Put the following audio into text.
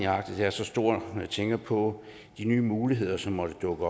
arktis er så stor når jeg tænker på de nye muligheder som måtte dukke